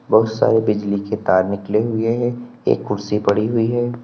बहुत सारे बिजली के तार निकले हुए हैं एक कुर्सी पड़ी हुई है।